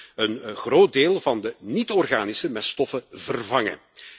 Zo kunnen we een groot deel van de niet-organische meststoffen vervangen.